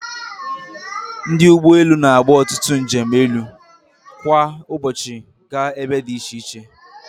Ndị ụgbọ elu na-agba ọtụtụ njem elu kwa ụbọchị gaa ebe dị iche iche.